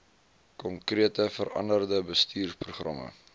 konkrete veranderde bestuursprogramme